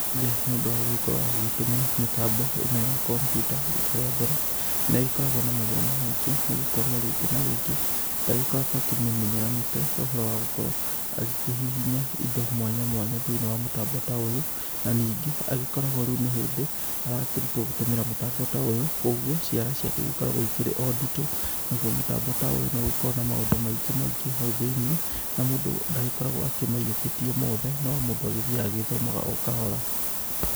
Rĩrĩa mũndũ agũgĩkorwo agĩtũmĩra mĩtambo ĩno ya kompiuta rita rĩa mbere nĩ agĩkoragwo na mathĩna maingĩ nĩ gũkorwo rĩngĩ a rĩngĩ ndagĩkoragwo akĩmĩmenyeranĩte ũhoro wa gũkorwo agĩkĩhihinya indo mwanya mwanya thĩinĩ wa mũtambo ta ũyũ. Na ningĩ agĩkoragwo rĩu nĩ hĩndĩ arakĩrutwoi gũtũmĩra mũtambo ta ũyũ koguo ciara ciake igĩkoragwo irĩ o nditũ. Naguo mũtambo ta ũyũ nĩ ũgĩkoragwo na maũndũ maingĩ maingĩ hau thĩinĩ na mũndũ ndagĩkoragwo akĩmaiyũkĩtie mothe. No mũndũ agĩthiaga agĩthomaga o kahora.